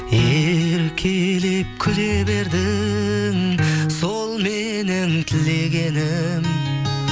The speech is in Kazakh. еркелеп күле бердің сол менің тілегенім